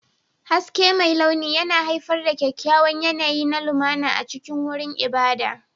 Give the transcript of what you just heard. Haske mai launi yana haifar da kyakkyawan yanayi na lumana a cikin wurin ibada.